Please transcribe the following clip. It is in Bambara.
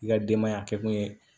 I ka denbaya kɛ kun ye